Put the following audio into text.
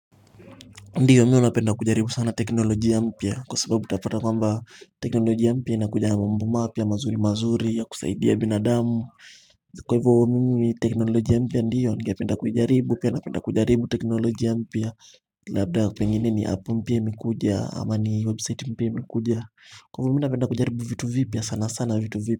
Ndiyo mi huwa napenda kujaribu sana teknolojia mpya kwa sababu tutapata kwamba teknolojia mpya inakuja na mambo mapya mazuri mazuri ya kusaidia binadamu kwa hivyo mimi teknolojia mpya ndiyo ningependa kuijaribu pia napenda kujaribu teknolojia mpya labda pengine ni app mpya imekuja ama ni website mpya imekuja kwa hivyo mi napenda kujaribu vitu vipya sana sana vitu vipya.